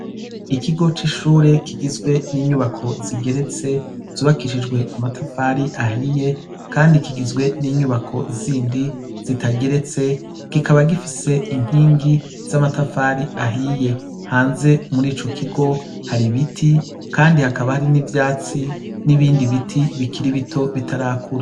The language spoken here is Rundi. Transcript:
Ikigo c'ishure kigizwe n'inyubako zigeretse, zubakishijwe amatafari ahiye ,kandi kigizwe n'inyubako zindi zitageretse ,kikaba gifise inkingi z'amatafari ahiye ,hanze muri ico kigo har' ibiti ,kandi hakaba n'ivyatsi ,n'ibindi biti bikiri bito bitarakure.